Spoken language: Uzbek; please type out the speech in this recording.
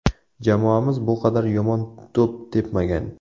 Jamoamiz bu qadar yomon to‘p tepmagan.